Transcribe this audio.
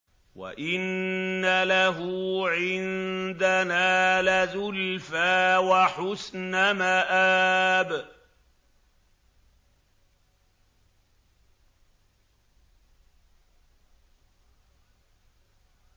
وَإِنَّ لَهُ عِندَنَا لَزُلْفَىٰ وَحُسْنَ مَآبٍ